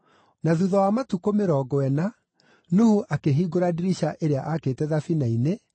Na thuutha wa matukũ mĩrongo ĩna, Nuhu akĩhingũra ndirica ĩrĩa aakĩte thabina-inĩ,